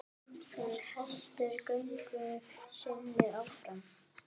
Hún heldur göngu sinni áfram.